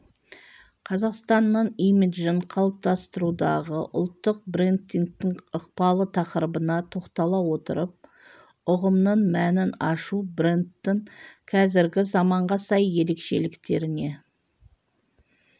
қазақстанның имиджін қалыптастырудағы ұлттық брендингтің ықпалы тақырыбына тоқтала отырып ұғымның мәнін ашу брендтің қазіргі заманға сай ерекшеліктеріне